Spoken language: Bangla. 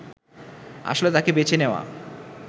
আসলে তাঁকে বেছে নেওয়া